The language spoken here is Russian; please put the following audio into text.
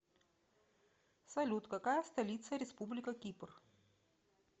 салют какая столица республика кипр